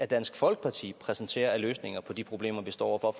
dansk folkeparti præsenterer af løsninger på de problemer vi står over for